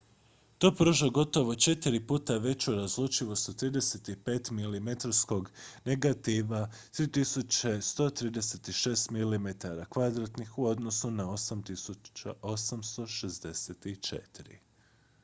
to pruža gotovo četiri puta veću razlučivost od 35-milimetarskog negativa 3136 mm2 u odnosu na 864